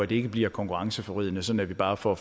det ikke bliver konkurrenceforvridende sådan at vi bare får